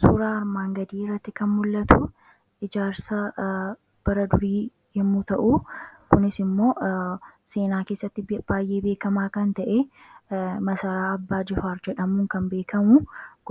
suuraa armaan gadii iratti kan mul'atu ijaarsa baradurii yemmuu ta'u kunis immoo seenaa keessatti baay'ee beekamaa kan ta'e masaraa abbaa jifaar jedhamuu kan beekamu